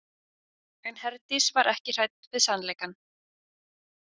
En Herdís var ekki hrædd við sannleikann.